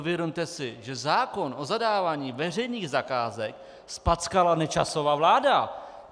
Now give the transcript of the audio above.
Uvědomte si, že zákon o zadávání veřejných zakázek zpackala Nečasova vláda.